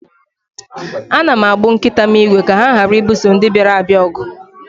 Ana m agbụ nkita m ígwè ka ha ghara ibuso ndị bịara abịa ọgụ